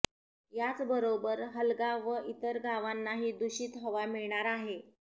याचबरोबर हलगा व इतर गावांनाही दूषित हवा मिळणार आहे